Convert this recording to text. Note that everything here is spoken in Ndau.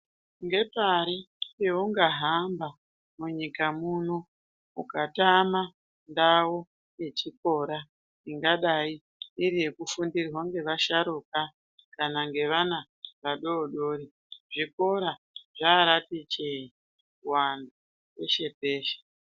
Ngepari peunga hamba munyika muno ukatama ndau yechikora, ingadai iri yekufundirwa ngava sharuka kana vana vadodori. Zvikora zvaraati chee kuwanda peshe peshe.